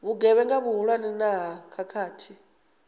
vhugevhenga vhuhulwane na ha khakhathi